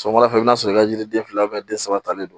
Sɔgɔmada fɛ i bɛ na sɔrɔ i ka yiri den fila den saba talen don